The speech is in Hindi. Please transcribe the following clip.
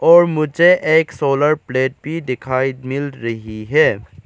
और मुझे एक सोलर प्लेट भी दिखाई मिल रही है।